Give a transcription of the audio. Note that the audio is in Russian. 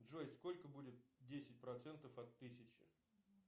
джой сколько будет десять процентов от тысячи